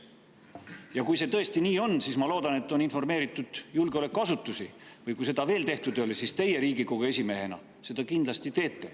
Ja kui see tõesti nii on, siis ma loodan, et on informeeritud julgeolekuasutusi, või kui seda veel tehtud ei ole, siis teie Riigikogu esimehena seda kindlasti teete.